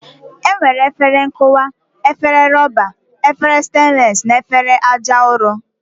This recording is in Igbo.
E nwere efere nkụwa, efere rọba, efere stenles na efere aja ụrọ.